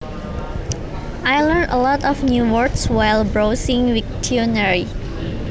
I learnt a lot of new words while browsing Wiktionary